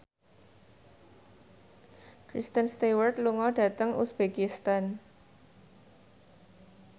Kristen Stewart lunga dhateng uzbekistan